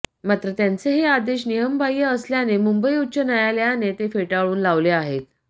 मात्र त्यांचे हे आदेश नियमबाह्य असल्याने मुंबई उच्च न्यायालयाने ते फेटाऊन लावले आहेत